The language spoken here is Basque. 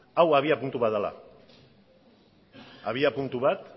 hau abiapuntu bat dela abiapuntu bat